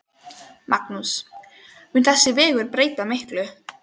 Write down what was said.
Magnús: Mun þessi vegur breyta miklu?